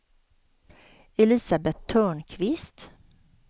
Elisabeth Törnqvist